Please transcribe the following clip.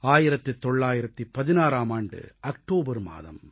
1916ஆம் ஆண்டு அக்டோபர் மாதம்